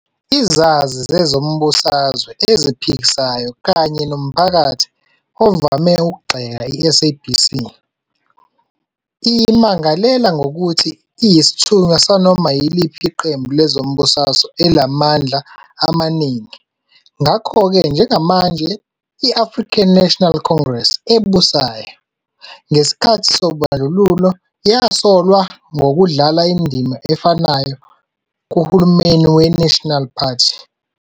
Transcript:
Izazi zezombusazwe eziphikisayo kanye nomphakathi ovame ukugxeka i-SABC, iyimangalela ngokuthi iyisithunywa sanoma yiliphi iqembu lezombusazwe elinamandla amaningi, ngakho-ke njengamanje I-African National Congress ebusayo, ngesikhathi Ubandlululo yasolwa ngokudlala indima efanayo kuhulumeni we-National Party.